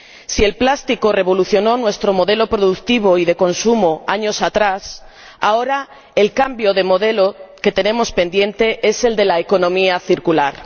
Si el plástico revolucionó nuestro modelo productivo y de consumo años atrás, ahora el cambio de modelo que tenemos pendiente es el de la economía circular.